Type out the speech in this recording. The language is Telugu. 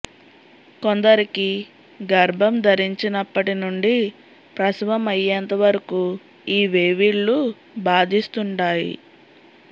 కొందరికి గర్భం ధరించనప్పటి నుండి ప్రసవం అయ్యేంత వరకూ ఈ వేవిళ్ళు బాధిస్తుంటాయి